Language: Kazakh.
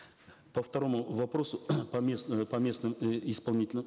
по второму вопросу по местным э исполнительным